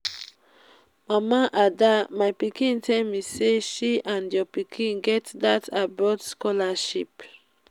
mama ada my pikin tell me say she and your pikin get dat abroad scholarship